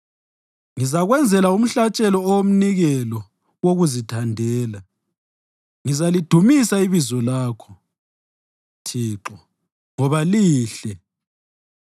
Ngizakwenzela umhlatshelo owomnikelo wokuzithandela; ngizalidumisa ibizo lakho, Thixo, ngoba lihle.